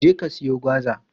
Je ka siyo gwaza!